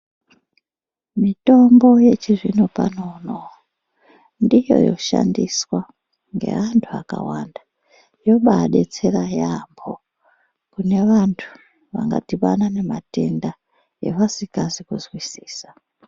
Mitombo yechizvino pano uno ndiyo yoshandiswa ngeantu akawanda inovadetsera yambo kune vantu vanga dhibana nematenda avasingazi kunzwisisa.